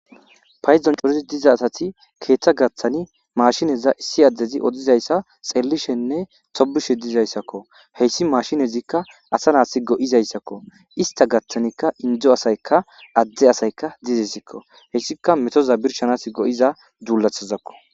payidon corid diza asati keeththa gaththani maashineza issi addezi odizayssa xellishenne tobushe dizayssakko heyssi mashinezika asa nas go7izaysako ista gaththanika indo asayka adde asayka desikko heysika metoza birshanas go7iza dulatazakko.